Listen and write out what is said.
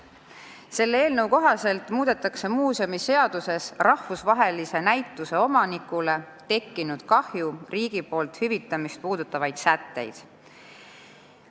Selle eelnõu kohaselt muudetakse muuseumiseaduses rahvusvahelise näituse omanikule tekkinud kahju riigi poolt hüvitamist puudutavaid sätteid.